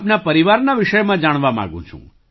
આપના પરિવારના વિષયમાં જાણવા માગું છું